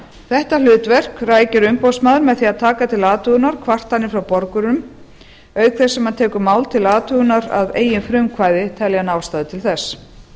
þetta hlutverk rækir umboðsmaður með því að taka til athugunar kvartanir frá borgurum auk þess sem hann tekur mál til athugun að eigin frumkvæði telji hann ástæðu til þess